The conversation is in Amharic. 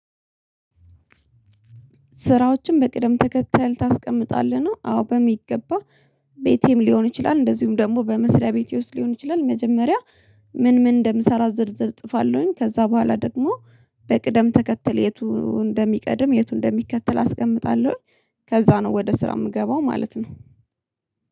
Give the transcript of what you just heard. ስራዎችን በቅደም ተከተል ታስቀምጣለህ ነው? አዎ በሚገባ ቤቴም ሊሆን ይችላል እንደዚሁም ደግሞ በመስሪያ ቤቴ ውስጥ ሊሆን ይችላል መጀመሪያ ምን ምን እንደምሰራ ዝርዝር እጥፋለሁኝ ከዛ በኋላ ደግሞ በቅደም ተከተል የቱ እንደሚቀድም የቱ እንደሚከተል አስቀምጣለሁኝ ከዛ ነው ወደ ስራ የምገባው ማለት ነው።